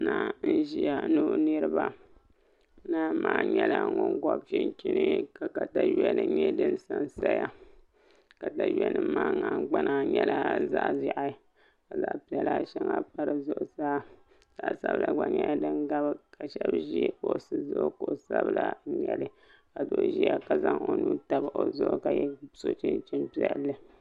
Naa n ʒiya ni o niraba naa maa nyɛla ŋun gobi chinchin ka katawiya nim nyɛ din sansaya katawiya nim maa nahangbana nyɛla zaɣ ʒiɛhi ka zaɣ piɛla shɛŋa pa di zuɣusaa zaɣ sabila gba nyɛla din biɛni ka shab ʒi kuɣu zuɣu kuɣu sabila n nyɛli ka doo ʒiya ka zaŋ o nuu tabi o zuɣu ka so chinchin piɛlli